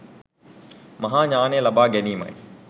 මහා ඤාණය ලබා ගැනීමයි.